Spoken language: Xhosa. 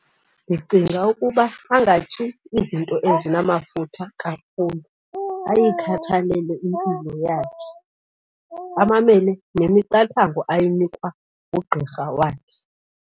Ndicinga ukuba angatyi izinto ezinamafutha kakhulu, ayikhathalele impilo yakhe, amamele nemiqathango ayinikwa ngugqirha wakhe.